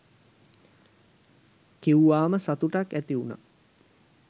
කිව්වාම සතුටක් ඇතිවුණා